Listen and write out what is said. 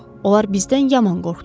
Onlar bizdən yaman qorxdular.